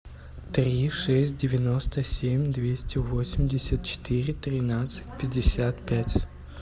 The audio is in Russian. три шесть девяносто семь двести восемьдесят четыре тринадцать пятьдесят пять